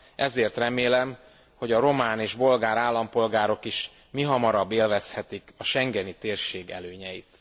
Ezért remélem, hogy a román és bolgár állampolgárok is mihamarabb élvezhetik a schengeni térség előnyeit.